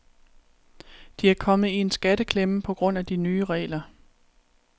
De er kommet i en skatteklemme på grund af de nye regler.